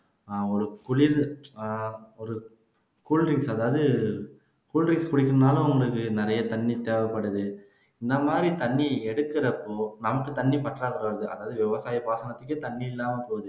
அஹ் ஒரு குளிர் அஹ் ஒரு cool drinks அதாவது cool drinks குடிக்கணும்னாலும் உங்களுக்கு நிறைய தண்ணி தேவைப்படுது இந்த மாதிரி தண்ணி எடுக்குறப்போ நமக்கு தண்ணி பற்றாக்குறை வருது அதாவது விவசாய பாசனத்துக்கே தண்ணி இல்லாம போகுது